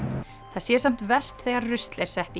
það sé samt verst þegar rusl er sett í